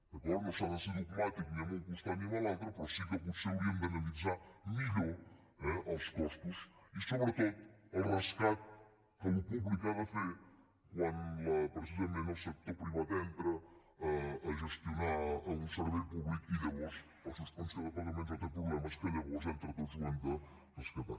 d’acord no s’ha de ser dogmàtic ni en un costat ni en l’altre però sí que potser hauríem d’analitzar millor eh els costos i sobretot el rescat que el sector públic ha de fer quan precisament el sector privat entra a gestionar un servei públic i llavors fa suspensió de pagaments o té problemes que llavors entre tots ho hem de rescatar